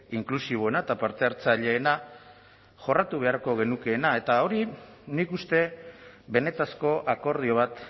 inklusiboena eta parte hartzaileena jorratu beharko genukeena eta hori nik uste benetako akordio bat